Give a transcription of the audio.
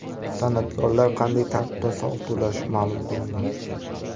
San’atkorlar qanday tartibda soliq to‘lashi ma’lum qilindi.